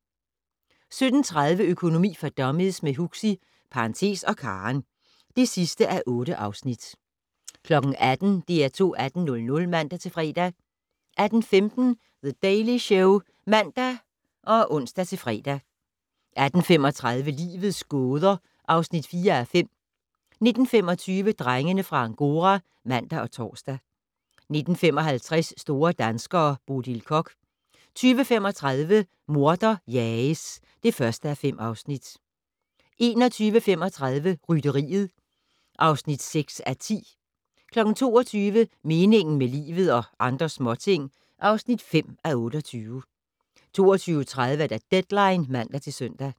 17:30: Økonomi for dummies - med Huxi (og Karen) (8:8) 18:00: DR2 18:00 (man-fre) 18:15: The Daily Show (man og ons-fre) 18:35: Livets gåder (4:5) 19:25: Drengene fra Angora (man og tor) 19:55: Store danskere - Bodil Koch 20:35: Morder jages (1:5) 21:35: Rytteriet (6:10) 22:00: Meningen med livet - og andre småting (5:28) 22:30: Deadline (man-søn)